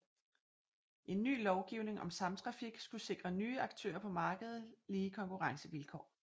En ny lovgivning om samtrafik skulle sikre nye aktører på markedet lige konkurrencevilkår